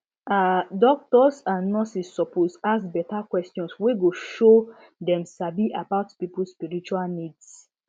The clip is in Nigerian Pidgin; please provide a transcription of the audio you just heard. ah doctors and nurses suppose ask beta questions wey go show dem sabi about people spiritual needs